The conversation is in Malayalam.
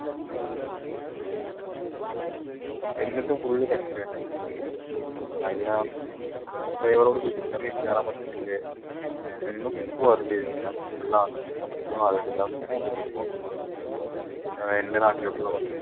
എന്നിട്ടും full തിരക്കിനു അതിനകത്ത് കേറാൻ പറ്റത്തില്ലേ full ആണ് നിൽക്കാൻ പറ്റുമോ എൻറെ നാട്ടിലോട്ടുള്ള